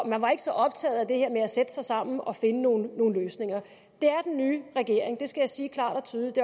man var ikke så optaget af det her med at sætte sig sammen og finde nogle løsninger det er den nye regering det skal jeg sige klart og tydeligt